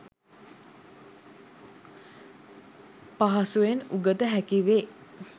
පහසුවෙන් උගත හැකි වේ.